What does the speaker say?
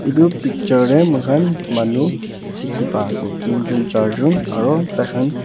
etu picture teh moi khan manu dikhi pa ase tin jon char jon aro tai khan--